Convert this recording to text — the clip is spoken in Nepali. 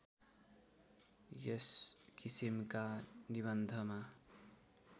यस किसिमका निबन्धमा